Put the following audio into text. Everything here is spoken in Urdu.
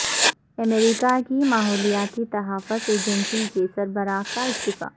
امریکہ کی ماحولیاتی تحفظ ایجنسی کے سربراہ کا استعفی